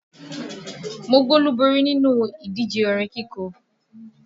Mo gbolúborí nínú ìdíje orin kíkọ